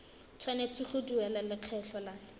tshwanetse go duela lekgetho la